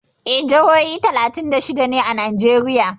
Eh, jihohi talatin da shida ne a Najeriya.